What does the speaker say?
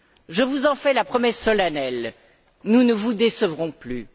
Je vous en fais la promesse solennelle, nous ne vous décevrons plus.